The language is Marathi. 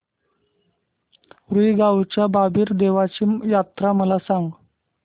रुई गावच्या बाबीर देवाची जत्रा मला सांग